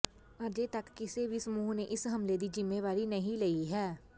ਅਜੇ ਤੱਕ ਕਿਸੇ ਵੀ ਸਮੂਹ ਨੇ ਇਸ ਹਮਲੇ ਦੀ ਜ਼ਿੰਮੇਵਾਰੀ ਨਹੀਂ ਲਈ ਹੈ